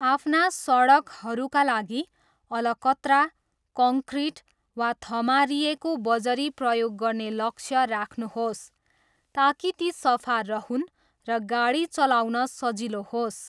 आफ्ना सडकहरूका लागि अलकत्रा, कङ्क्रिट, वा थमारिएको बजरी प्रयोग गर्ने लक्ष्य राख्नुहोस् ताकि ती सफा रहून् र गाडी चलाउन सजिलो होस्।